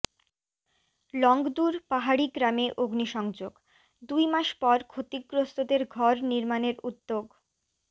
লংগদুর পাহাড়ি গ্রামে অগ্নিসংযোগ দুই মাস পর ক্ষতিগ্রস্তদের ঘর নির্মাণের উদ্যোগ